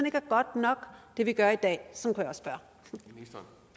ikke godt nok hvad vi gør i dag kunne